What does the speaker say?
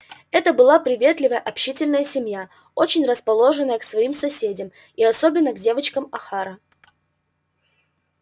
это была приветливая общительная семья очень расположенная к своим соседям и особенно к девочкам охара